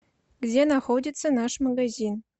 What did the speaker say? где находится наш магазин